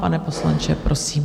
Pane poslanče, prosím.